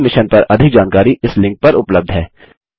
इस मिशन पर अधिक जानकारी इस लिंक पर उपलब्ध है